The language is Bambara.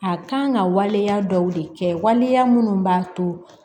A kan ka waleya dɔw de kɛ waleya minnu b'a to